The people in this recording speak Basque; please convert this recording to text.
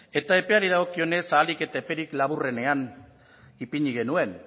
eta epeari dagokionez ahalik eta eperik laburrenean ipini genuen